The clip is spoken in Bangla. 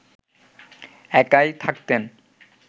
একাই থাকতেন